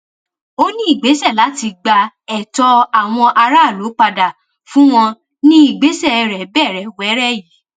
ó ní ìgbésẹ láti gba ẹtọ àwọn aráàlú padà fún wọn ní ìgbésẹ rẹ bẹrẹ wẹrẹ yìí